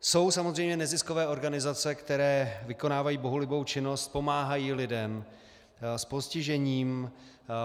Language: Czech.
Jsou samozřejmě neziskové organizace, které vykonávají bohulibou činnost, pomáhají lidem s postižením.